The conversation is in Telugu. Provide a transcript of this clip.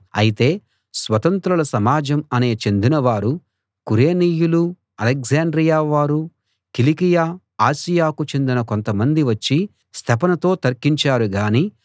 అయితే స్వతంత్రుల సమాజం అనే చెందినవారూ కురేనీయులూ అలెగ్జాండ్రియా వారు కిలికియ ఆసియాకు చెందిన కొంత మందీ వచ్చి స్తెఫనుతో తర్కించారు గాని